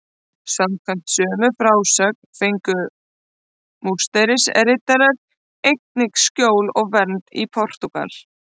Samkvæmt sömu frásögn fengu Musterisriddarar einnig skjól og vernd í Portúgal.